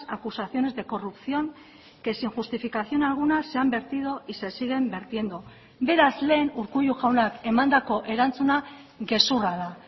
acusaciones de corrupción que sin justificación alguna se han vertido y se siguen vertiendo beraz lehen urkullu jaunak emandako erantzuna gezurra da